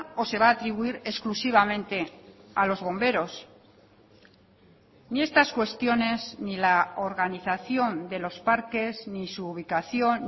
o se va a atribuir exclusivamente a los bomberos ni estas cuestiones ni la organización de los parques ni su ubicación